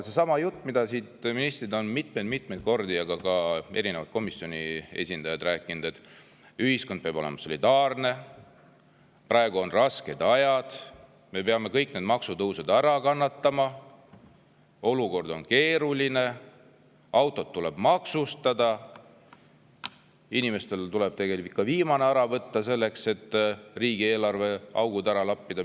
Sedasama juttu on ministrid, aga ka erinevad komisjoni esindajad siit mitmeid-mitmeid kordi rääkinud, et ühiskond peab olema solidaarne, praegu on rasked ajad, me peame kõik maksutõusud ära kannatama, olukord on keeruline, autod tuleb maksustada, inimestelt tuleb viimanegi ära võtta selleks, et riigieelarve augud ära lappida.